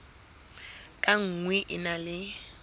ka nngwe e na le